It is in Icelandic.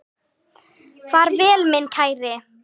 Far vel minn kæri.